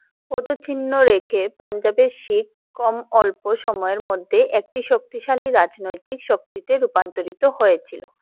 পদচিহ্ন রেখে পাঞ্জাবে শিখ কম অল্প সময় এর মধ্যে একটি শক্তিশালী রাজনৈতিক শক্তি তে রূপান্তরিত হয়ে ছিলো।